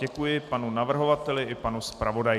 Děkuji panu navrhovateli i panu zpravodaji.